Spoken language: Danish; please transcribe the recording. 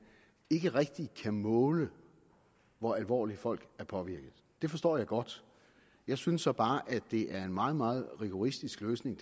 ikke rigtig kan måle hvor alvorligt folk er påvirket det forstår jeg godt jeg synes så bare at det er en meget meget rigoristisk løsning